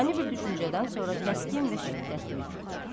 Ani bir düşüncədən sonra kəskin və şiddətli.